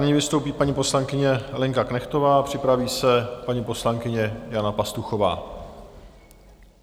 Nyní vystoupí paní poslankyně Lenka Knechtová a připraví se paní poslankyně Jana Pastuchová.